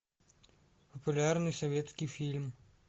популярный советский фильм